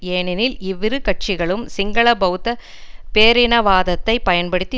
ஏனெனில் இவ்விரு கட்சிகளும் சிங்கள பெளத்த பேரினவாதத்தை பயன்படுத்தி